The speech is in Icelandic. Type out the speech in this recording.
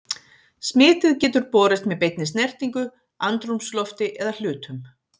Smitið getur borist með beinni snertingu, andrúmslofti eða hlutum.